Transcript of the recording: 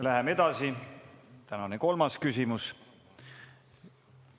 Läheme edasi, tänane kolmas küsimus.